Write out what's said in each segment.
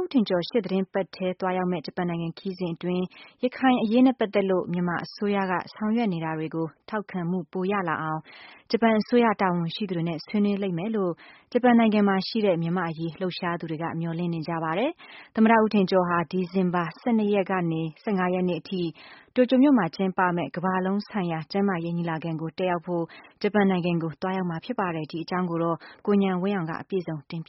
ဦးထင်ကျော် ရှေ့သီတင်းထဲသွားရောက်မယ့် ဂျပန်နိုင်ငံ ခရီးစဉ်အတွင်း ရခိုင်အရေးနဲ့ပတ်သက်လို့ မြန်မာအစိုးရက ဆောင်ရွက်နေ တာတွေကို ထောက်ခံမှု ပိုရလာအောင် ဂျပန်အစိုးရတာဝန်ရှိသူတွေနဲ့ ဆွေးနွေးနိုင်လိမ့်မယ်လို့ ဂျပန်နိုင်ငံမှာရှိတဲ့ မြန်မာ့အရေး လှုပ်ရှားသူ တွေက မျှော်လင့်နေကြပါတယ်။ သမ္မတ ဦးထင်ကျော်ဟာ ဒီဇင်ဘာ ၁၂ ကနေ ၁၅ ရက်နေ့ထိ တိုကျိုမြို့မှာကျင်းပမယ့် ကမ္ဘာလုံးဆိုင်ရာ ကျန်းမာရေး ညီလာခံကို တက်ရောက်ဖို့ ဂျပန်နိုင်ငံကို သွားရောက်မှာဖြစ်ပါတယ်။ ဒီအကြောင်း ကိုဉာဏ်ဝင်းအောင်က ပြော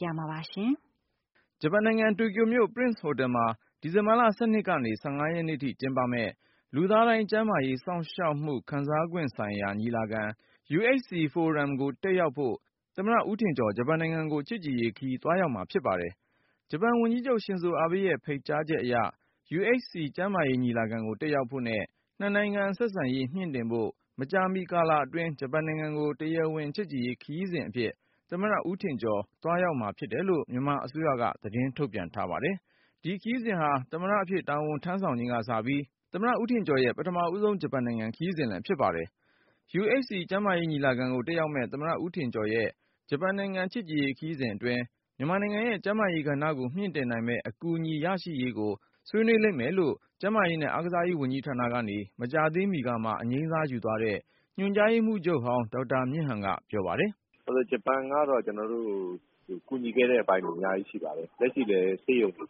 ပြမှာပါ။ ဂျပန်နိုင်ငံ တိုကျိုမြို့ Prince Hotel မှာ ဒီဇင်ဘာ ၁၂ ကနေ ၁၅ ရက်နေ့ထိကျင်းပမယ့် လူသားတိုင်း ကျန်းမာရေး စောင့်ရှောက်မှု ခံစားနိုင်ခွင့် ဆိုင်ရာ ညီလာခံ Universal Health Coverage Forum 2017 ကို တက်ရောက်ဖို့ ရှေ့တပတ်ထဲ သမ္မတ ဦးထင်ကျော် ဂျပန်နိုင်ငံကို ချစ်ကြည်ရေးခရီး သွားရောက်မှာ ဖြစ်ပါတယ်။ ဂျပန်ဝန်ကြီးချုပ် ရှင်ဇိုအာဘေးရဲ့ ဖိတ်ကြားချက်အရ UHC ကျန်းမာရေး ညီလာခံကို တက်ရောက်ဖို့နဲ့ နှစ်နိုင်ငံ ဆက်ဆံရေး မြှင့်တင်ဖို့ မကြာမီ ကာလအတွင်း ဂျပန်နိုင်ငံကို တရားဝင် ချစ်ကြည်ရေးခရီးအဖြစ် သမ္မတ ဦးထင်ကျော် သွားရောက်မှာ ဖြစ်တယ်လို့ မြန်မာအစိုးရက သတင်း ထုတ်ပြန်ထားပါတယ်။ ဒီခရီးစဉ်ဟာ သမ္မတအဖြစ် တာဝန်ထမ်းဆောင်ချိန်ကစပြီး သမ္မတဦးထင်ကျော်ရဲ့ ပထမဦးဆုံး ဂျပန်နိုင်ငံ ခရီးစဉ်လည်း ဖြစ်ပါတယ်။ UHC ကျန်းမာရေး ညီလာခံကို တက်ရောက်မယ့် သမ္မတ ဦးထင်ကျော်ရဲ့ ဂျပန်နိုင်ငံ ချစ်ကြည်ရေးခရီးစဉ်အတွင်း မြန်မာနိုင်ငံရဲ့ ကျန်းမာရေး ကဏ္ဍကို မြှင့်တင်နိုင်မယ့် အကူအညီ ရရှိရေးကို ဆွေးနွေးလိမ့်မယ်လို့ ကျန်းမာရေးနဲ့ အားကစားရေးဝန်ကြီးဌာနကနေ မကြာသေးမီကမှ အငြိမ်းစားယူသွားတဲ့ ညွှန်ကြားရေးမှူးချုပ်ဟောင်း ဒေါက်တာ မြင့်ဟန် ကပြောပါတယ်။ “ဂျပန်ကတော့ ကျနော်တို့ကို ကူညီခဲ့တဲ့ အပိုင်းတွေ အများကြီးရှိပါတယ်။ လက်ရှိလည်း ဆေးရုံတွေ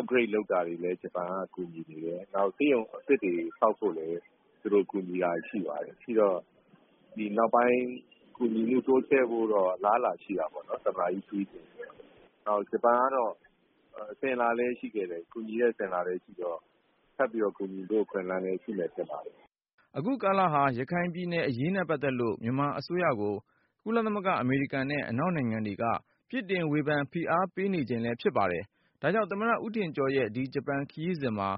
upgrade လုပ်တာတွေလည်း ဂျပန်ကကူညီနေတယ်။ နောက်ပြီးတော့ ဆေးရုံအသစ်တွေဆောက်ဖို့လည်း သူတို့ ကူညီနေတာတွေရှိပါတယ် ။ ရှိတော့ နောက်ပိုင်းကူညီတာတွေလုပ်ဖို့ကတော့ အလားအလာရှိတာပေါ့နော်။သမ္မတကြီးခရီးစဉ်ပြီးရင်ပေါ့နော်။ နောက်ပြီး ဂျပန်ကတော့ ကူညီတဲ့အစဉ်အလာလည်း ရှိခဲ့တော့ ဆက်ပြီးတော့ ကူညီဖို့ အခွင့်အလမ်းလည်းရှိမယ်ထင်ပါတယ်။” အခုကာလဟာ ရခိုင်ပြည်နယ်အရေးနဲ့ပတ်သက်လို့ မြန်မာအစိုးရကို ကုလသမဂ္ဂ၊ အမေရိကန်နဲ့ အနောက်နိုင်ငံတွေက ပြစ်တင်ဝေဖန် ဖိအား ပေးနေတဲ့ အချိန်ဖြစ်ပါတယ်။ ဒါကြောင့် သမ္မတ ဦးထင်ကျော်ရဲ့ ဒီ ဂျပန်နိုင်ငံခရီးမှာ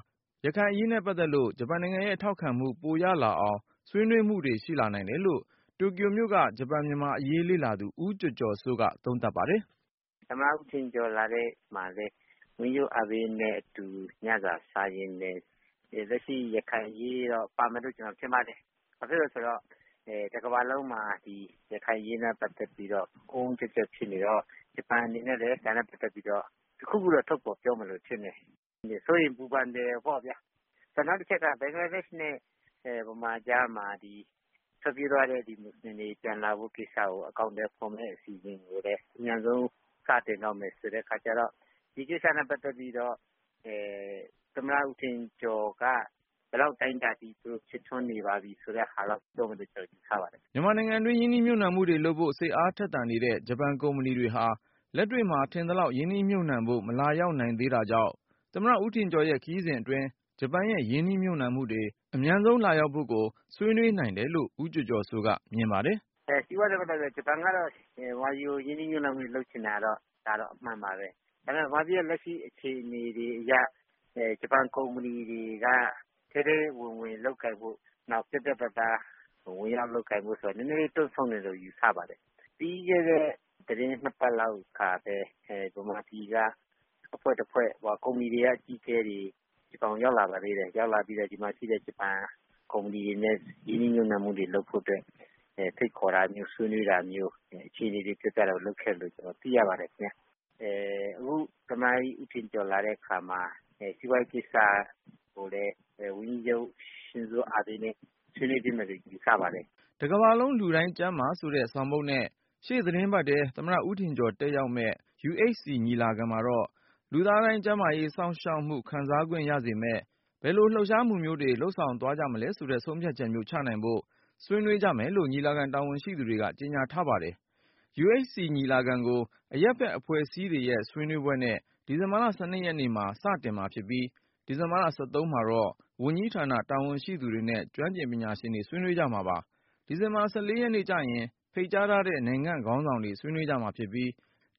ရခိုင်အရေးနဲ့ပတ်သက်လို့ ဂျပန်နိုင်ငံရဲ့ထောက်ခံမှု ပိုရ လာအောင် ဆွေးနွေးမှုတွေ ရှိလာနိုင်တယ်လို့ တိုကျိုမြို့က ဂျပန်-မြန်မာအရေး လေ့လာသူ ဦးကျော်ကျော်စိုးက သုံးသပ်ပါတယ်။ “သမ္မတ ဦးထင်ကျော်လာတဲ့အချိန်မှာလည်း ဝန်ကြီးချုပ် အာဘေးနဲ့အတူ ညစာစားရင်းနဲ့ လက်ရှိရခိုင်အရေးရော ပါမယ်ထင်ပါတယ်။ ဘာဖြစ်လို့လဲဆိုတော့ တကမ္ဘာလုံးမှာ ရခိုင်အရေးနဲ့ ပတ်သက်ပြီးတော့ အုန်းအုန်းကျပ်ကျပ် ဖြစ်နေတော့ တခုခုတော့ ထုတ်ဖော်ပြောမယ်လု့ိထင်တယ်။ စိုးရိမ်ပူပန်တယ်ပေါ့ဗျာ နောက်တချက်ကတော့ ဘင်္ဂလားဒေ့ရှ်နဲ့ မြန်မာကြားမှာ ဒီ ထွက်ပြေးသွားတဲ့ မွတ်စလင်တွေ ပြန်လာဖို့ ကိစ္စကို အကောင်အထည်ဖော်မယ့်အစီအစဉ်ကိုလည်း အမြန်ဆုံးစတင်တော့မယ်ဆိုတဲ့အခါကျတော့ ဒီကိစ္စနဲ့ ပတ်သက်ပြီးတော့ သမ္မတဦးထင်ကျော်က ဘယ်လောက်အတိုင်းအတာအထိ ဖြစ်ထွန်းနေပါပြီဆိုတာကို ပြောမယ်ဆိုတာ ကျနော်ယူဆပါတယ်။” မြန်မာနိုင်ငံတွင်း ရင်းနှီးမြှုပ်နှံမှုတွေလုပ်ဖို့ စိတ်အားထက်သန်နေတဲ့ ဂျပန်ကုမ္ပဏီတွေဟာ လက်တွေ့မှာ ထင်သလောက် ရင်းနှီးမြှုပ်နှံဖို့ မလာရောက် သေးတာကြောင့် သမ္မတဦးထင်ကျော်ရဲ့ ခရီးစဉ်အတွင်း ဂျပန်ရဲ့ ရင်းနှီးမြှုပ်နှံမှုတွေ အမြန်ဆုံးလာရောက်ဖို့ကို ဆွေးနွေးနိုင် တယ်လို့ဦးကျော်ကျော်စိုးက မြင်ပါတယ်။ “စီးပွားရေးနဲ့ ပတ်သက်ပြီးတော့ ဂျပန်ကတော့ မြန်မာကို ရင်းနှီးမြှုပ်နှံမှုတွေ လုပ်ချင်တာကတော့ အမှန်ပါပဲ။ ဒါပေမယ့် မြန်မာပြည်လက်ရှိအခြေအနေတွေအရ ဂျပန်ကုမ္ပဏီတွေက ထဲထဲဝင်ဝင်လုပ်ကိုင်ဖို့ နောက်ပြီး ပြတ်ပြတ်သားသားဝင်ရောက်လုပ်ကိုင်ဖို့ဆိုတာက နည်းနည်းလေး တွန့်ဆုတ်နေတယ်လို့ ယူဆပါတယ်။ ပြီးခဲ့တဲ့ သီတင်း ၂ ပတ်လောက်က မြန်မာပြည်က အဖွဲ့တဖွဲ့က ကုမ္ပဏီတွေကအကြီးအကဲတွေ ဂျပန်ကို ရောက်လာပါသေးတယ်။ ရောက်လာပြီးတော့ ဒီမှာရှိတဲ့ ဂျပန်ကုမ္ပဏီတွေနဲ့ ရင်းနှီးမြှုပ်နှံမှုတွေ လုပ်ဖို့အတွက် ဖိတ်ခေါ်တာမျိုး ဆွေးနွေးတာမျိုး အခြေအနေတွေ လုပ်ခဲ့တယ်လို့ တော့ ကျနော်သိရပါတယ်။ အခုသမ္မတဦးထင်ကျော်လာတဲ့အခါမှာ စီးပွားရေးကိစ္စကိုလည်း ဝန်ကြီးချုပ် ရှင်ဇိုအာဘေးနဲ့ ဆွေးနွေးဖြစ်မယ်လို့ ယူဆပါတယ်။” တကမ္ဘာလုံး လူတိုင်းကျန်းမာ ဆိုတဲ့ဆောင်ပုဒ်နဲ့ ရှေ့သီတင်းပတ်ထဲ သမ္မတဦးထင်ကျော် တက်ရောက်မယ့် UHC ညီလာခံမှာတော့ လူသားတိုင်း ကျန်းမာရေး စောင့်ရှောက်မှု ခံစားခွင့်ရစေမယ့် ဘယ်လို လှုပ်ရှားမှုမျိုးတွေ လုပ်ဆောင်သွားမလဲဆိုတဲ့ ဆုံးဖြတ်ချက်မျိုး ချမှတ်နိုင်ဖို့ ဆွေးနွေးကြမယ်လို့ ညီလာခံတာဝန်ရှိသူတွေက ကြေညာထားပါတယ်။ UHC ညီလာခံကို အရပ်ဖက်အဖွဲ့အစည်းတွေရဲ့ ဆွေးနွေးပွဲနဲ့ ဒီဇင်ဘာ ၁၂ ရက်နေ့မှာ စတင်မှာဖြစ်ပြီး၊ ဒီဇင်ဘာလ ၁၃ ရက်နေ့မှာတော့ ဝန်ကြီးဌာန တာဝန်ရှိသူတွေနဲ့ ကျွမ်းကျင်ပညာရှင်တွေ ဆွေးနွေးကြမှာပါ။ ဒီဇင်ဘာ ၁၄ ရက်နေ့ကျရင် ဖိတ်ကြားထားတဲ့ နိုင်ငံ့ခေါင်းဆောင် တွေ ဆွေးနွေးကြမှာဖြစ်ပြီး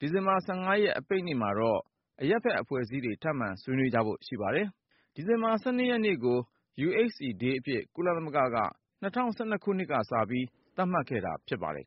၊ ဒီဇင်ဘာ ၁၅ အပိတ်နေ့မှာတော့ အရပ်ဖက် အဖွဲ့အစည်းတွေ ထပ်မံဆွေးနွေးကြဖို့ ရှိပါတယ်။ ဒီဇင်ဘာလ ၁၂ ရက်နေ့ကို UHC Day အဖြစ် ကုသမဂ္ဂက ၂၀၁၂ ခုနှစ်ကစပြီး သတ်မှတ်ခဲ့တာဖြစ်ပါတယ်